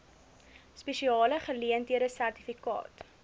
spesiale geleenthede sertifikaat